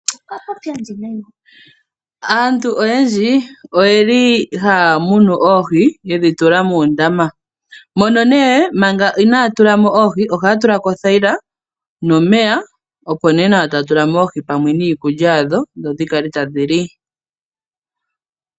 Aantu oyendji oye li haya munu oohi, yedhi tula muundama. Mono nee, manga inaaya tulamo oohi, ohaya tulamo othayila, nomeya, opo nee nawa taya tulamo oohi niikulya yadho, opo dhikale tadhi li.